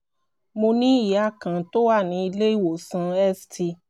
mo ní ìyá kan tó wà ní ilé ìwòsàn st